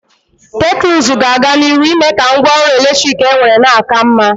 Teknuzu ga-aga n'iru ime ka ngwa ọrụ eletrik enwere na-aka mma.